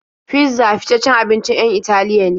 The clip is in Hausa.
Fizza fitaccen abincin 'yan Italiya ne.